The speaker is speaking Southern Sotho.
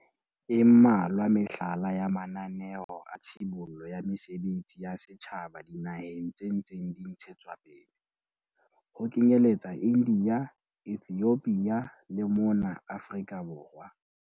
E mmalwa mehlala ya mananeo a tshibollo ya mesebetsi ya setjhaba dinaheng tse ntseng di ntshetswapele, ho kenyeletsa India, Ethiopia le mona Afrika Borwa.